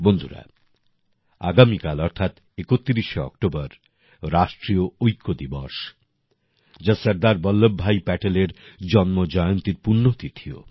বন্ধুরা আগামীকাল অর্থাৎ ৩১শে অক্টোবর রাষ্ট্রীয় ঐক্য দিবস যা সরদার বল্লভ ভাই প্যাটেলের জন্মজয়ন্তীর পুণ্যতিথিও